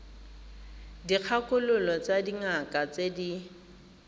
dikgakololo tsa dingaka tse di